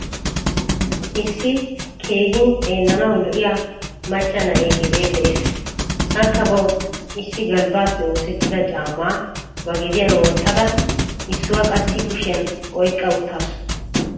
Issi keehin xeellanawu lo'iyaa macca na'e gede de'ees. Akka bawu issi galbbape oosettida caama ba gediyan wottada issuwaa qassi kushiyan oyqqa uttasu.